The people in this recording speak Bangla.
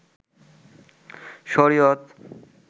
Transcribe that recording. শরিয়ত